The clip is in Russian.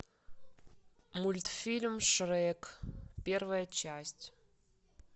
мультфильм шрек первая часть